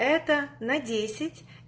это на десять